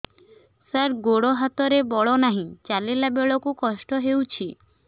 ସାର ଗୋଡୋ ହାତରେ ବଳ ନାହିଁ ଚାଲିଲା ବେଳକୁ କଷ୍ଟ ହେଉଛି